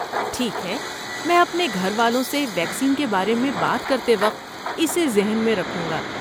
ٹھیک ہے، میں اپنے گھر والوں سے ویکسین کے بارے میں بات کرتے وقت اسے ذہن میں رکھوں گا۔